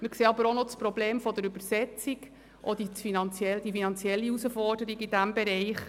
Wir sehen das Problem der Übersetzung, das auch eine finanzielle Herausforderung darstellt.